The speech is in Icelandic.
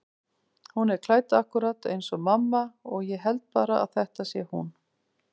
Hún er klædd akkúrat eins og mamma og ég held bara að þetta sé hún.